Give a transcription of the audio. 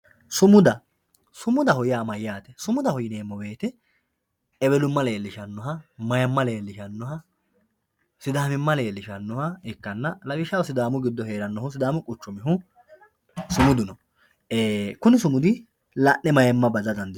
sumuda sumudaho yaa mayaate sumudaho yineemo woyiite ewelumma leelishshannoha mayiima leelishshannoha sidaamimma leelishshannoha ikkanna lawishshaho sidaamu giddo heerannohu sudamu quchumihu sumudu no kuni sumudi la'ne mayiima bada dandiinemoho.